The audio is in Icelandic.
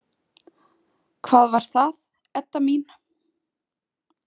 Hvað var það, Edda mín?